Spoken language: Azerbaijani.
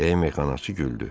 Deyə meyxanaçı güldü.